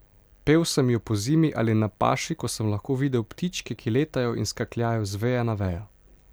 Pel sem jo pozimi ali na paši, ko sem lahko videl ptičke, ki letajo in skakljajo z veje na vejo.